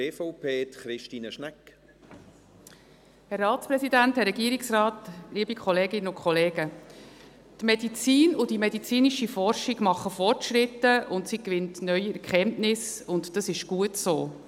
Die Medizin und die medizinische Forschung machen Fortschritte und gewinnen neue Erkenntnisse, und das ist gut so.